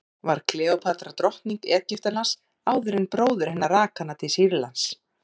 var kleópatra drottning egyptalands áður en bróðir hennar rak hana til sýrlands